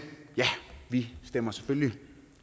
ja vi stemmer selvfølgelig